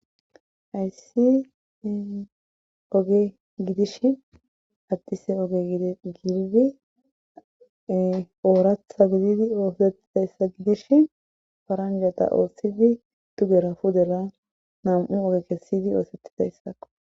hayssi oge gidishn addise oge gididi ooratha gididi oohosetidayssa gidishn faranjata oossidi dugera pudera nam'u oge kessidi oosettidayssako